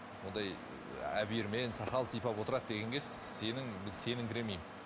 ондай сақал сыйпап отырады дегенге сенің сеніңкіремеймін